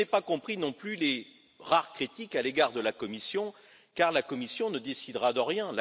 Je n'ai pas compris, non plus, les rares critiques à l'égard de la Commission, car la Commission ne décidera de rien